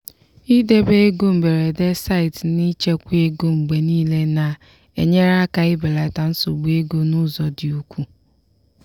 idebe ego mberede site n'ichekwa ego mgbe niile na-enyere aka ibelata nsogbu ego n'ụzọ dị ukwuu.